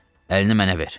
Əlini mənə ver.